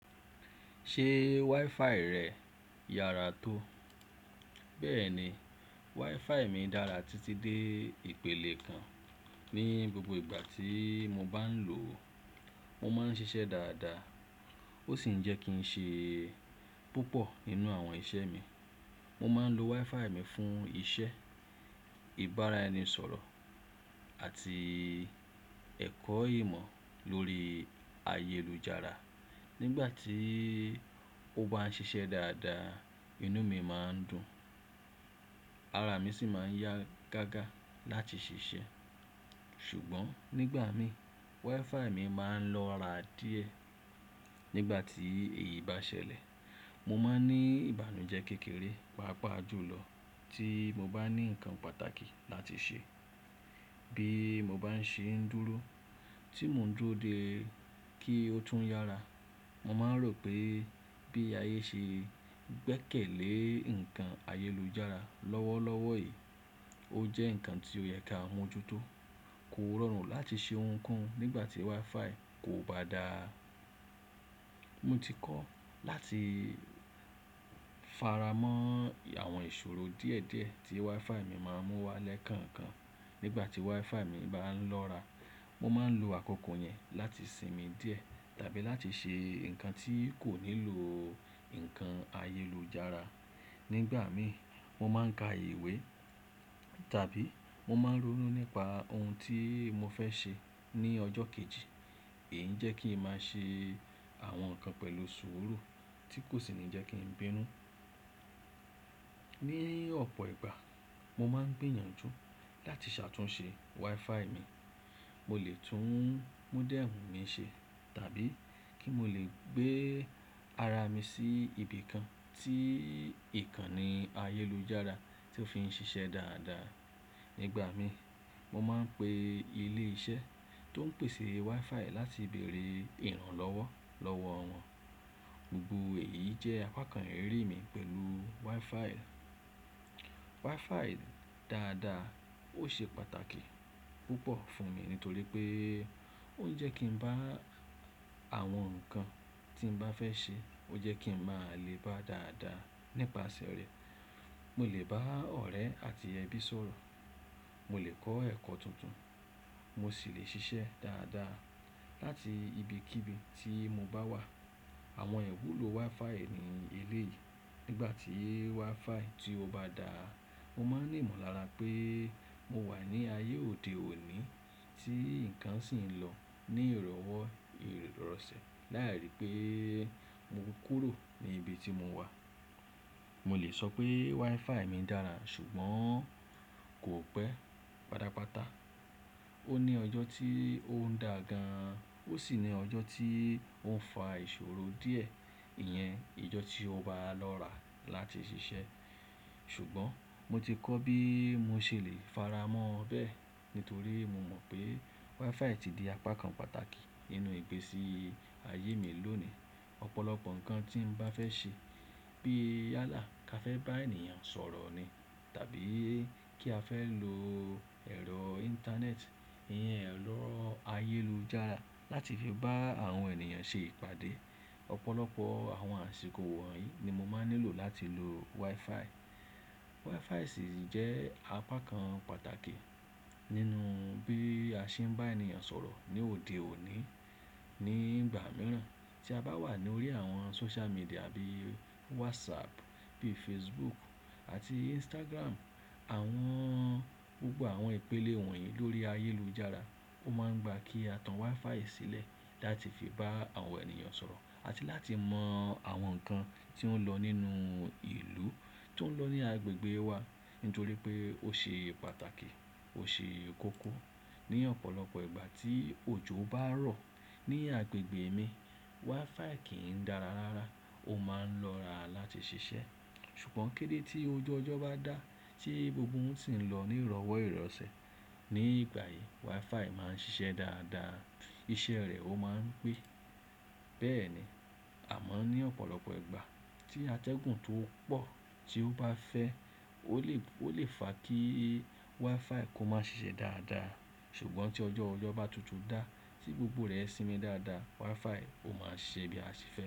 Ṣe WiFi rẹ yára tó? Bẹ́ẹ̀ni, WiFi mi dára títí dé ìpele kan. Ni gbogbo ìgbà tí mo bá ń lò ó, mo máa ń ṣiṣẹ́ dáadáa. Ó sì ń jẹ́ kí n ṣe púpọ̀ nínú àwọn iṣẹ́ mi. Mo máa ń lo WiFi mi fún iṣẹ́, ìbára ẹni sọ̀rọ̀ àti ẹ̀kọ́ ìmọ̀ lórí ayélujára. Nígbà tí ó bá ń ṣiṣẹ́ dáadáa, inú mi máa ń dùn, ara mi sì máa ń yá gágá láti ṣiṣẹ́. Ṣùgbọ́n nígbà mìí, WiFi mi máa ń lọ́ra díẹ̀. Nígbà tí èyí bá ṣẹlẹ̀, mo máa ń ní ìbànújẹ́ kékeré, pàápàá jùlọ tí mo bá ní nǹkan pàtàkì láti ṣe. Bí mo bá ń ṣe ń dúró, tí mo ń dúró dé kí ó tún yára, mo máa ń rò pé bí ayé ṣe gbẹ́kẹ̀lé ǹkan ayélujára lọ́wọ́lọ́wọ́ èyí, ó jẹ́ ǹkan tí ó yẹ ká mú ojútó. Kó rọrùn láti ṣe ohun kan nígbà tí WiFi kò bá dáa. Mo ti kọ́ láti faramọ́ àwọn ìṣòro díẹ̀díẹ̀ tí WiFi mi máa ń mú wá lẹ́kànkan. Nígbà tí WiFi mi bá ń lọ́ra, mo máa ń lo àkókò yẹn láti sinmi díẹ̀ tàbí láti ṣe nǹkan tí kò nílò nǹkan ayélujára. Nígbà mìí, mo máa ń ka ìwé tàbí mo máa ń ronú nípa ohun tí mo fẹ́ ṣe ní ọjọ́ kejì. Èyí ń jẹ́ kí n máa ṣe àwọn nǹkan pẹ̀lú sùúrù tí kò sì ní jẹ́ kí n bínú. Ni ọ̀pọ̀ ìgbà, mo máa ń gbìyànjú láti ṣàtúnṣe WiFi mi. Mo lè tún mọ́dẹ́ẹ̀mù mi ṣe tàbí kí mo lè gbé ara mi sí ibi kan tí ìkànnì ayélujára tí ó fi ń ṣiṣẹ́ dáadáa. Nígbà mìí, mo máa ń pe ilé iṣẹ́ tó ń pèsè WiFi láti bèèrè ìrànlọ́wọ́ lọ́wọ́ wọn. Gbogbo èyí jẹ́ apakan iriri mi pẹ̀lú WiFi. WiFi dáadáa ó ṣe pàtàkì púpọ̀ fún mi nítorí pé ó ń jẹ́ kí ń bá àwọn nǹkan tí mo bá fẹ́ ṣe, ó jẹ́ kí ń máa le bá dáadáa nípasẹ̀ rẹ̀. Mo lè bá ọ̀rẹ́ àti ẹbí sọ̀rọ̀, mo lè kọ́ ẹ̀kọ́ tuntun, mo sì lè ṣiṣẹ́ dáadáa láti ibikíbi tí mo bá wà. Àwọn iwú ló WiFi ní elé yìí. Nígbà tí WiFi tí ó bá dáa, mo máa ń rí ìmọ̀lára pé mo wà ní ayé òde òní tí ǹkan sì ń lọ ní ìrọ̀wọ́ ìrọ̀sẹ̀ láàárín pé mo kúrò ní ibi tí mo wà. Mo lè sọ pé WiFi mi dára ṣùgbọ́n kò pẹ́ patapata. Ó ní ọjọ́ tí ó ń dà gan, ó sì ní ọjọ́ tí ó ń fa ìṣòro díẹ̀. Ìyẹn ọjọ́ tí ó bá lọ́ra láti ṣiṣẹ́. Ṣùgbọ́n mo ti kọ́ bí mo ṣe lè faramọ́ bẹ́ẹ̀ nítorí mo mọ̀ pé WiFi ti di apakan pàtàkì nínú ìgbésí ayé mi lónìí. Ọ̀pọ̀lọpọ̀ nǹkan tí mo bá fẹ́ ṣe bí yálà ká fẹ́ bá ènìyàn sọ̀rọ̀ ni tàbí kí a fẹ́ lo ẹ̀rọ Íńtánẹ́ẹ̀tì, Ìyẹn ẹ̀rọ ayélujára láti fi bá àwọn ènìyàn ṣe ìpàdé. Ọ̀pọ̀lọpọ̀ àwọn àsìkò wọ̀nyí ni mo máa ń nílò láti lo WiFi. WiFi sì jẹ́ apakan pàtàkì nínú bí a ṣe ń bá ènìyàn sọ̀rọ̀ ní òde òní. Ni ìgbà mìíràn tí a bá wà lórí àwọn sóṣú màdíà bíi WhatsApp, bíi Facebook àti Instagram, àwọn-- gbogbo àwọn ìpele wọ̀nyí lórí ayélujára, ó máa ń gba kí a tan WiFi sílẹ̀ láti fi bá àwọn ènìyàn sọ̀rọ̀ àti láti mọ̀ àwọn nǹkan tí ó ń lọ nínú ìlú, tó ń lọ ní agbègbè wa nítorí pé ó ṣe pàtàkì, ó ṣe kókó. Ni ọ̀pọ̀lọpọ̀ ìgbà tí òjò bá rọ̀ ní agbègbè mi, WiFi kì í dára rárá. Ó máa ń lọ́ra láti ṣiṣẹ́. Ṣùgbọ́n kedé tí oju ọjọ́ bá dá tí gbogbo ohun sì ń lọ ní ìrọ̀wọ́ ìrọ̀sẹ̀, ní ìgbà yìí WiFi máa ń ṣiṣẹ́ dáadáa. Iṣẹ́ rẹ̀ ó máa ń pé. Bẹ́ẹ̀ ni, àmọ́ ní ọ̀pọ̀lọpọ̀ ìgbà tí atẹ́gùn tó pọ̀ tí ó bá fẹ́ ó lè, ó lè fa kí WiFi kó má ṣiṣẹ́ dáadáa. Ṣùgbọ́n tí ọjọ́ ọjọ́ bá tutù dá, tí gbogbo rẹ̀ sinmi dáadáa, WiFi ó máa ṣẹ bí a ṣe fẹ́.